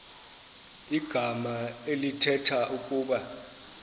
igama elithetha ukuba